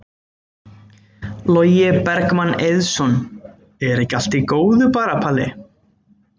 Logi Bergmann Eiðsson: Er ekki allt í góðu bara Palli?